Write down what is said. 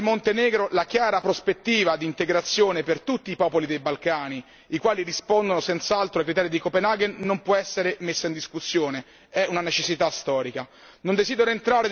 Come detto prima per il Montenegro, la chiara prospettiva di integrazione per tutti i popoli dei Balcani, i quali rispondono senz'altro ai criteri di Copenaghen, non può essere messa in discussione è una necessità storica.